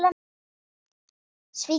Svíkja það.